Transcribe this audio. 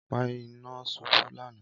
Ọpa ina ṣubú lana